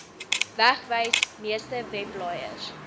wegwys meeste webblaaiers